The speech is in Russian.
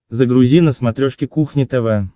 загрузи на смотрешке кухня тв